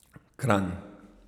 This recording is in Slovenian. Kranj.